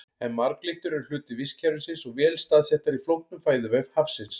En marglyttur eru hluti vistkerfisins og vel staðsettar í flóknum fæðuvef hafsins.